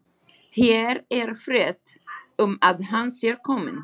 Hér er frétt um að hann sé kominn.